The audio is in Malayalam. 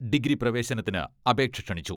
ഡിഗ്രി പ്രവേശനത്തിന് അപേക്ഷ ക്ഷണിച്ചു.